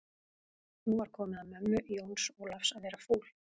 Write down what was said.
Nú var komið að mömmu Jóns Ólafs að verða fúl.